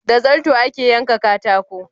Da zarto ake yanka katako